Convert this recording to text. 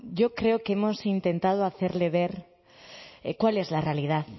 yo creo que hemos intentado hacerle ver cuál es la realidad